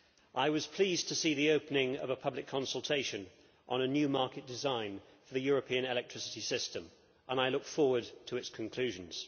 I was pleased to see the opening of a public consultation on a new market design for the European electricity system and I look forward to its conclusions.